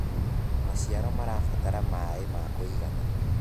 maciaro marabatara maĩ ma kũigana